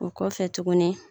O kɔfɛ tuguni